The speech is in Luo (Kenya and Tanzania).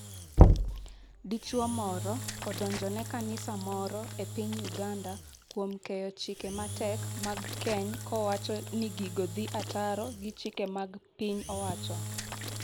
Dichwo moro odonjone kanisa moro e piny Uganda kuom keyo chike matek mag keny kowacho ni gigo dhi ataro gi chike mag piny owacho.